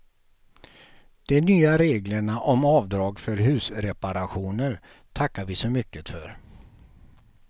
De nya reglerna om avdrag för husreparationer tackar vi så mycket för.